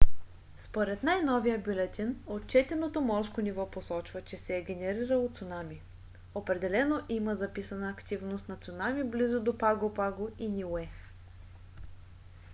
според най-новия бюлетин отчетеното морско ниво посочва че се е генерирало цунами. определено има записана активност на цунами близо до паго паго и ниуе